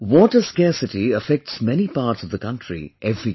Water scarcity affects many parts of the country every year